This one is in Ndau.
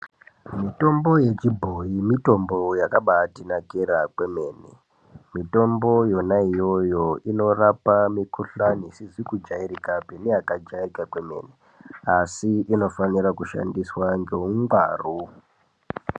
Mitombo yechiboyi mutombo wakabaitinakira kwemhene , mutombo iyona iyoyo inorapa mukuhlani isizi kujairikapi neyakajairika kwemene asi inofanirwe kushandiswa neungwaru.